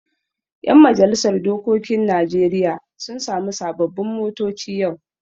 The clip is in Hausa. Yan majalisar dokokin Najeriya sun sami sababbin motoci yau.